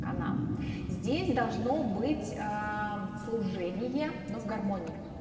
канал здесь должно быть служение но в гармонии